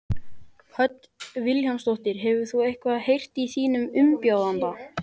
Hödd Vilhjálmsdóttir: Hefur þú eitthvað heyrt í þínum umbjóðanda?